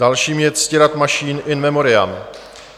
Dalším je Ctirad Mašín, in memoriam.